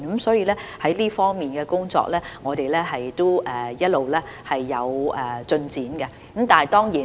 所以，我們在這方面的工作一直也有進展。